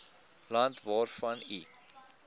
land waarvan u